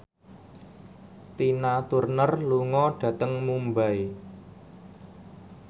Tina Turner lunga dhateng Mumbai